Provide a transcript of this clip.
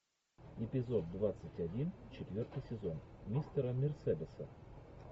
эпизод двадцать один четвертый сезон мистера мерседеса